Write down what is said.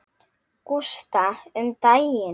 Gústa um daginn.